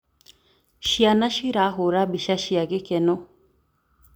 Ciana cirahũra mbica cia gĩkeno.